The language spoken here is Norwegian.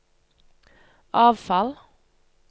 avfall